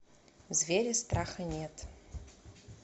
звери страха нет